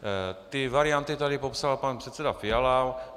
Ty varianty tady popsal pan předseda Fiala.